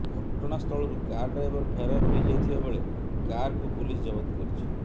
ଘଟଣାସ୍ଥଳରୁ car driver ଫେରାର ହୋଇଯାଇଥିବାବେଳେ କାର୍କୁ ପୁଲିସ୍ ଜବତ କରିଛି